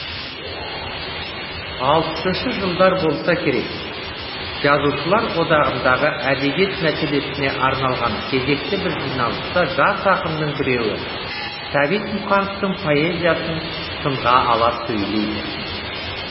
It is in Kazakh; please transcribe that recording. алпысыншы жылдар болса керек жазушылар одағындағы әдебиет мәселесіне арналған кезекті бір жиналыста жас ақынның біреуі сәбит мұқановтың поэзиясын сынға ала сөйлейді